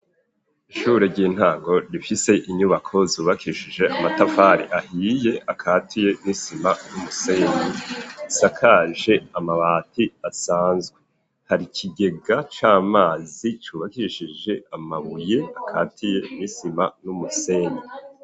Ishure ry'intango rifise inyubako zubakishije amatafari ahiye akatiye n'isima n'umusenyi ,isakaje amabati asanzwe, hari kigega c'amazi cubakishije amabuye akatiye nisima n'umusenyi.